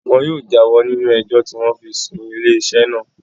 Wọn yóò já wọ́ nínú ẹjọ́ tí wọ́n fi sún ilé iṣẹ́ naa